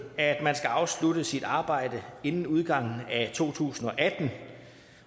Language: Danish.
at man skal afslutte sit arbejde inden udgangen af to tusind